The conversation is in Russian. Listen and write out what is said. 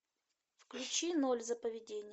включи ноль за поведение